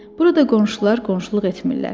Burada qonşular qonşuluq etmirlər.